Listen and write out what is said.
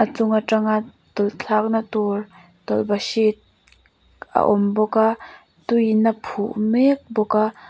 chung a tanga tawlh thlakna tur tawlh bahrit a awm bawk a tuiin a phu mek bawk a.